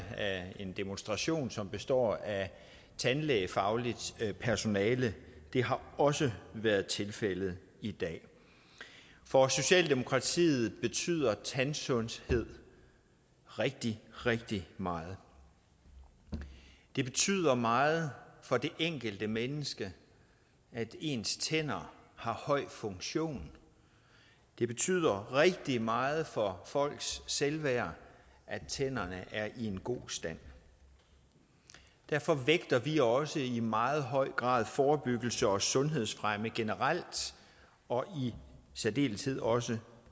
af en demonstration som består af tandlægefagligt personale det har også været tilfældet i dag for socialdemokratiet betyder tandsundhed rigtig rigtig meget det betyder meget for det enkelte menneske at ens tænder har høj funktion det betyder rigtig meget for folks selvværd at tænderne er i en god stand derfor vægter vi også i meget høj grad forebyggelse og sundhedsfremme generelt og i særdeleshed også